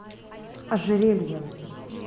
ожерельем